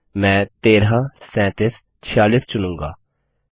मैं 13 37 46 चुनूँगा